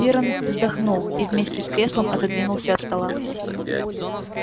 пиренн вздохнул и вместе с креслом отодвинулся от стола